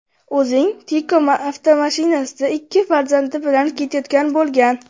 o‘zing Tiko avtomashinasida ikki farzandi bilan ketayotgan bo‘lgan.